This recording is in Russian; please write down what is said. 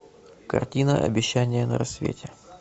картина обещание на рассвете